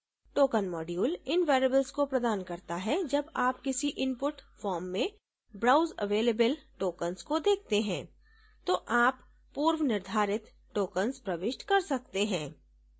token module इन variablesको प्रदान करता है जब आप किसी input form में browse available tokens को देखते हैं तो आप पूर्वनिर्धारित tokens प्रविष्ट कर सकते हैं